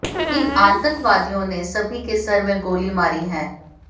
इन आतंकवादियों ने सभी के सर में गोली मारी है